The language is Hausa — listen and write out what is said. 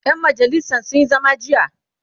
ƴan majalisan sun Yi zama jiya